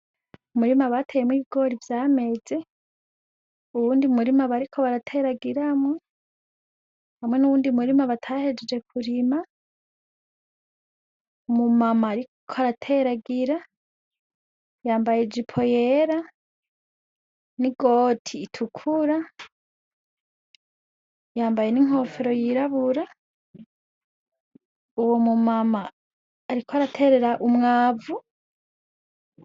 Umurimu abateyemwo igori vyameze uwundi murimu abariko barateragiramwo hamwe n'uwundi murimu batahejeje kurima umumama, ariko arateragira yambaye jeipo yera n'i goti itukura yambaye n'inkofero yirabura uwo mumama, ariko araterera umwavu.